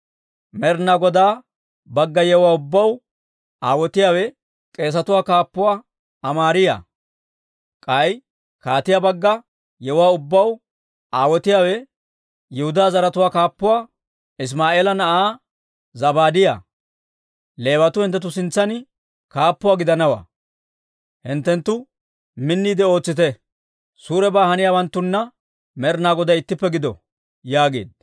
Med'inaa Godaa bagga yewuwaa ubbaw aawotiyaawe k'eesatuwaa kaappuwaa Amaariyaa; k'ay kaatiyaa bagga yewuwaa ubbaw aawotiyaawe Yihudaa zaratuwaa kaappuwaa Isimaa'eela na'aa Zabaadiyaa. Leewatuu hinttenttu sintsan kaappuwaa gidanawaa. Hinttenttu minniide ootsite. Suurebaa haniyaawanttuna Med'inaa Goday ittippe gido» yaageedda.